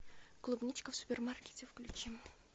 клубничка в супермаркете включи